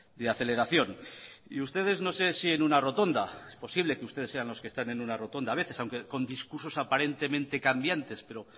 de aceleración y ustedes no sé si en una rotonda es posible que ustedes sean los que están en una rotonda a veces aunque con discursos aparentemente cambiantes pero